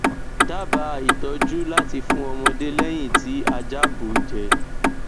daba itọju lati fun ọmọde lẹhin ti aja bu jẹ